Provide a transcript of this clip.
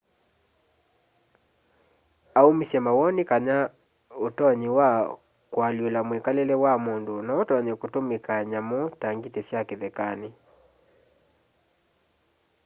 aũmĩsye mawoni kana ũtonyi tosũ wa kwa lĩũla mwĩkalĩle wa mũndũ no ũtonye kũtũmĩka nyamũ ta ngĩtĩ sya kĩthekanĩ